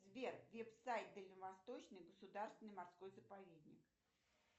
сбер веб сайт дальневосточный государственный морской заповедник